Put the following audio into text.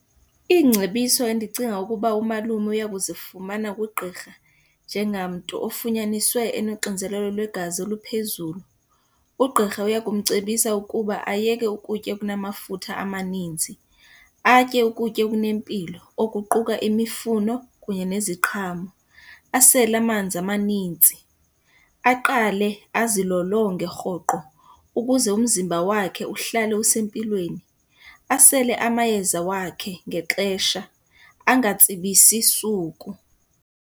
Iingcebiso endicinga ukuba umalume uya kuzifumana kugqirha njengamntu ofunyaniswe enonxinzelelo lwegazi oluphezulu, ugqirha uya kumcebisa ukuba ayeke ukutya okunamafutha amanintsi. Atye ukutya okunempilo okuquka imifuno kunye neziqhamo, asele amanzi amanintsi, aqale azilolonge rhoqo ukuze umzimba wakhe uhlale usempilweni. Asele amayeza wakhe ngexesha angatsibisi suku.